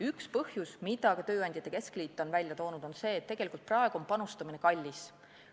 Üks põhjusi, mida ka tööandjate keskliit on välja toonud, on see, et praegu on panustamine kallis.